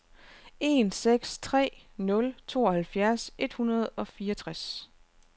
en seks tre nul tooghalvfjerds et hundrede og fireogtres